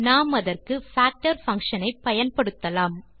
நாம் அதற்கு factor function ஐ பயன்படுத்தலாம்